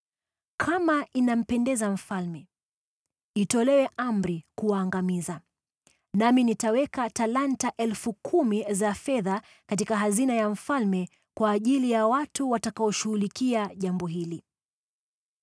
Kama inampendeza mfalme, itolewe amri kuwaangamiza, nami nitaweka talanta 10,000 za fedha katika hazina ya mfalme kwa ajili ya watu watakaoshughulikia jambo hili.”